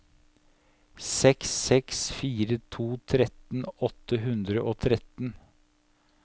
seks seks fire to tretten åtte hundre og tretten